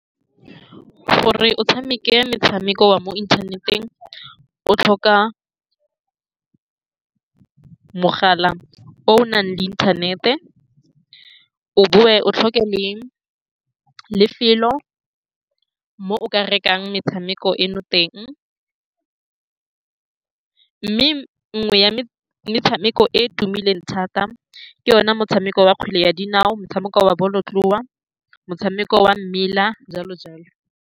Gore o tshameke metshameko wa mo inthaneteng, o tlhoka mogala o o nang le inthanete. O boe o tlhoke le lefelo mo o ka rekang metshameko eno teng, mme nngwe ya metshameko e e tumileng thata ke yone motshameko wa kgwele ya dinao, motshameko wa bolotloa, motshameko wa mmela, jalo-jalo.